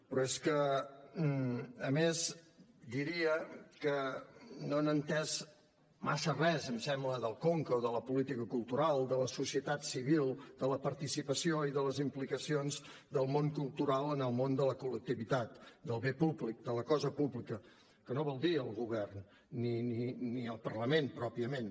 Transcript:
però és que a més diria que no han entès massa res em sembla del conca o de la política cultural de la societat civil de la participació i de les implicacions del món cultural en el món de la col·lectivitat del bé públic de la cosa pública que no vol dir el govern ni el parlament pròpiament